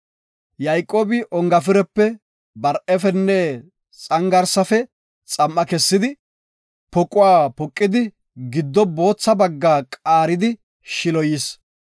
Yayqoobi ongafirepe, bar7efenne lawuze mithafe xam7a kessidi, poquwa poqidi giddo bootha bagga qaaridi shiloyis.